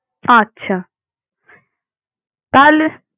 আচ্ছা। তাহলে?